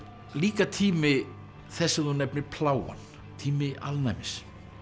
líka tími þess sem þú nefnir plágan tími alnæmis